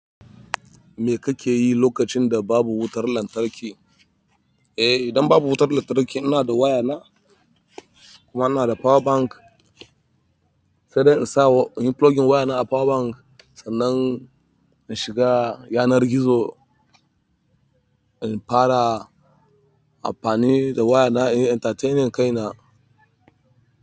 Me kake yi lokacin da babu wutar lantarki? Eh, idan babu wutar lantarki ina da waya na kuma ina da power bank sai dai in sa wa--in yi plugging waya na a power bank sannan in shiga yanar gizo, in fara amfani da waya na in yi entertaining kaina.